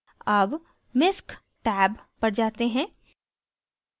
tab misc tab पर जाते हैं